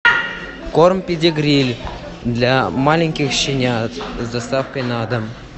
корм педигри для маленьких щенят с доставкой на дом